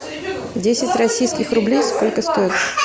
десять российских рублей сколько стоит